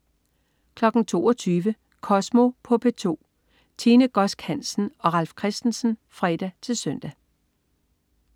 22.00 Kosmo på P2. Tine Godsk Hansen og Ralf Christensen (fre-søn)